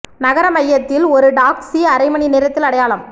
நகர மையத்தில் ஒரு டாக்சி அரை மணி நேரத்தில் அடையலாம்